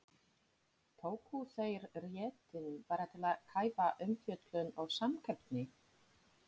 Tóku þeir réttinn bara til að kæfa umfjöllun og samkeppni?